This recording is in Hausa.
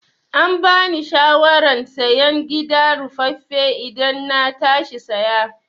Ambani shawaran sayen gida ruffafe idan na tashi saya